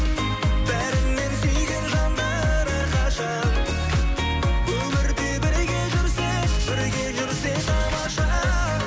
бәрінен сүйген жандар әрқашан өмірде бірге жүрсе бірге жүрсе тамаша